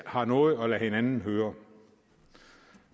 har noget at lade hinanden høre